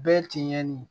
Bɛɛ tiɲɛnen ye